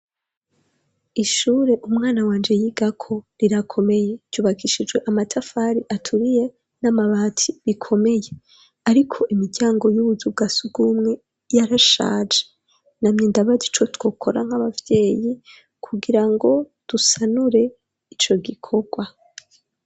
Ishure umwana wanje yigako rirakomeye yubakishijwe amatafari aturiye n'amabati bikomeye ariko imijyango y'ubuzu bwa sugumwe yarashaje namye ndabagi co twokora nk'abavyeyi kugira ngo dusanure ico gikorwa.